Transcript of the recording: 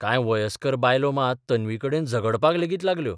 कांय वयस्कर बायलो मात तन्वीकडेन झगडपाक लेगीत लागल्यो.